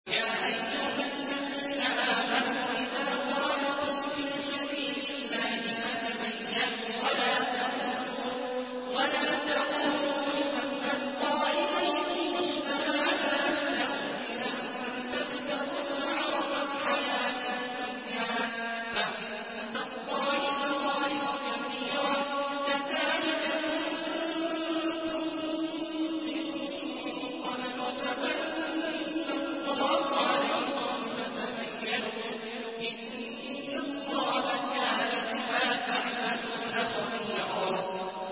يَا أَيُّهَا الَّذِينَ آمَنُوا إِذَا ضَرَبْتُمْ فِي سَبِيلِ اللَّهِ فَتَبَيَّنُوا وَلَا تَقُولُوا لِمَنْ أَلْقَىٰ إِلَيْكُمُ السَّلَامَ لَسْتَ مُؤْمِنًا تَبْتَغُونَ عَرَضَ الْحَيَاةِ الدُّنْيَا فَعِندَ اللَّهِ مَغَانِمُ كَثِيرَةٌ ۚ كَذَٰلِكَ كُنتُم مِّن قَبْلُ فَمَنَّ اللَّهُ عَلَيْكُمْ فَتَبَيَّنُوا ۚ إِنَّ اللَّهَ كَانَ بِمَا تَعْمَلُونَ خَبِيرًا